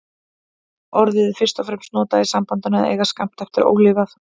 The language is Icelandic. Orðið er fyrst og fremst notað í sambandinu að eiga skammt eftir ólifað.